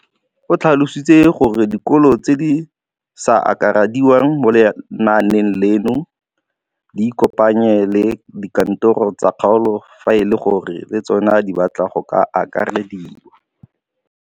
O tlhalositse gore dikolo tse di sa akarediwang mo lenaaneng leno di ikopanye le dikantoro tsa kgaolo fa e le gore le tsona di batla go akarediwa.